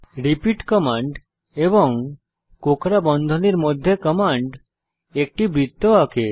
repeat command এবং কোঁকড়া বন্ধনীর মধ্যে কমান্ড একটি বৃত্ত আঁকে